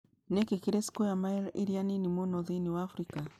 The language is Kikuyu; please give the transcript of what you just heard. Nĩ kĩĩ kĩrĩ square mile iria nini mũno thĩinĩ wa Afrika